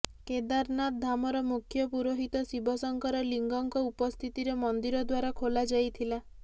କେଦାରନାଥ ଧାମର ମୁଖ୍ୟ ପୁରୋହିତ ଶିବ ଶଙ୍କର ଲିଙ୍ଗଙ୍କ ଉପସ୍ଥିତିରେ ମନ୍ଦିର ଦ୍ବାର ଖୋଲାଯାଇଥିଲା